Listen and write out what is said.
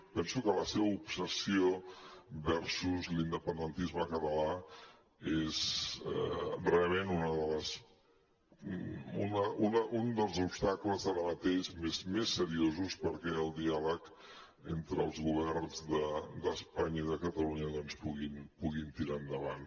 penso que la seva obsessió versus l’independentisme català és realment un dels obstacles ara mateix més seriosos perquè el diàleg entre els governs d’espanya i de catalunya puguin tirar endavant